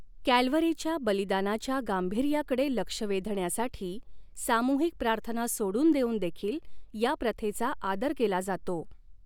कॅल्व्हरीच्या बलिदानाच्या गांभीर्याकडे लक्ष वेधण्यासाठी सामूहिक प्रार्थना सोडून देऊन देखील या प्रथेचा आदर केला जातो.